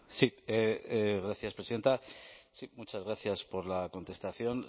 sí gracias presidenta sí muchas gracias por la contestación